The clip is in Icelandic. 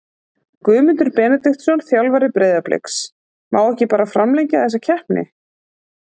Guðmundur Benediktsson, þjálfari Breiðabliks Má ekki bara framlengja þessa keppni?